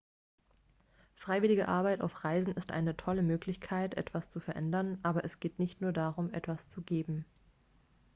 freiwillige arbeit auf reisen ist eine tolle möglichkeit etwas zu verändern aber es geht nicht nur darum etwas zu geben